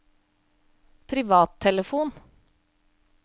privattelefon